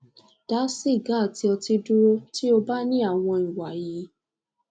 da siga ati oti duro ti o ba ni awon iwa yi